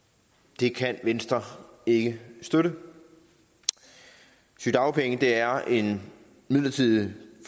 det kan venstre ikke støtte sygedagpenge er en midlertidig